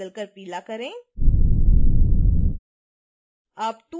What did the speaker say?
फिर रंग को बदल कर पीला करें